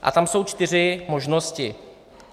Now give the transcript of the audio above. A tam jsou čtyři možnosti.